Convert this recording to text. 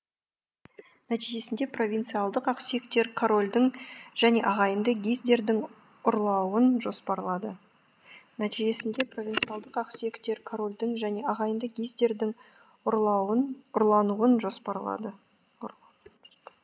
нәтижесінде провинциялдық ақсүйектер королдің және ағайынды гиздердің ұрлауын жоспарлады нәтижесінде провинциялдық ақсүйектер королдің және ағайынды гиздердің ұрлануын жоспарлады